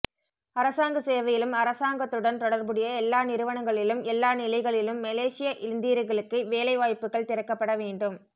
அரசாங்கச் சேவையிலும் அரசாங்கத்துடன் தொடர்புடைய எல்லா நிறுவனங்களிலும் எல்லா நிலைகளிலும் மலேசிய இந்தியர்களுக்கு வேலை வாய்ப்புக்கள் திறக்கப்பட வேண்டும்